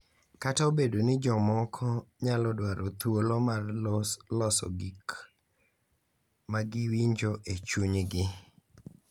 Kata obedo ni jomoko nyalo dwaro thuolo mar loso gik ma giwinjo e chunygi .